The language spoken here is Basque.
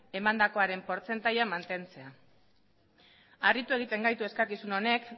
emandakoaren portzentajea mantentzea harritu egiten gaitu eskakizun honek